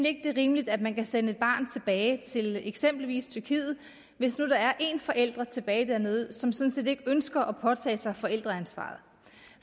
ikke det er rimeligt at man kan sende et barn tilbage til eksempelvis tyrkiet hvis nu der er en forælder tilbage dernede som sådan set ikke ønsker at påtage sig forældreansvaret